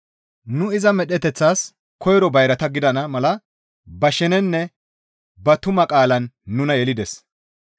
Nu iza medheteththaas koyro bayrata gidana mala ba sheneninne ba tuma qaalaan nuna yelides.